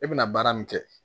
E bɛna baara min kɛ